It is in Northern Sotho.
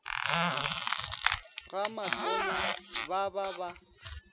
ga matonya ba ba ba